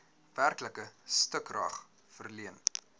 werklike stukrag verleen